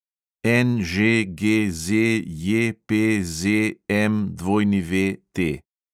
NŽGZJPZMWT